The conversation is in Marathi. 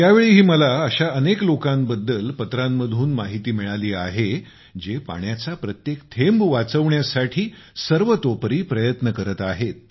यावेळीही मला अशा अनेक लोकांबद्दल पत्र लिहून माहिती दिली आहे जे पाण्याचा प्रत्येक थेंब वाचवण्यासाठी सर्वतोपरी प्रयत्न करत आहेत